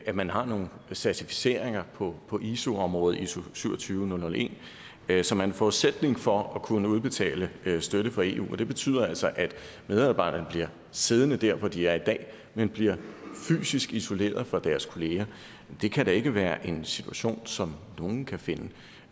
at man har nogle certificeringer på på iso området iso27001 som er en forudsætning for at kunne udbetale støtte fra eu og det betyder altså at medarbejderne bliver siddende der hvor de er i dag men bliver fysisk isoleret fra deres kolleger det kan da ikke være en situation som nogen kan finde